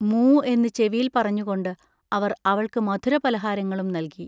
മൂ എന്ന് ചെവിയിൽ പറഞ്ഞുകൊണ്ട് അവർ അവൾക്ക് മധുരപലഹാരങ്ങളും നൽകി.